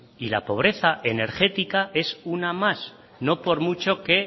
y la pobreza energética es una más no por mucho que